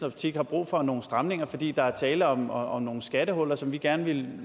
optik er brug for nogle stramninger fordi der er tale om om nogle skattehuller som vi gerne ville